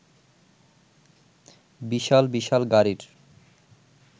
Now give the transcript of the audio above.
বিশাল বিশাল গাড়ির